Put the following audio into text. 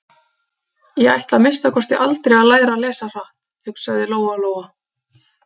Ég ætla að minnsta kosti aldrei að læra að lesa hratt, hugsaði Lóa-Lóa.